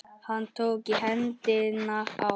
Hann tók í hendina á